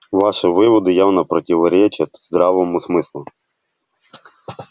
ваши выводы явно противоречат здравому смыслу